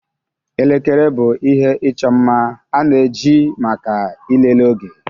Elekere bụ ihe ịchọ mma a na-eji maka ịlele oge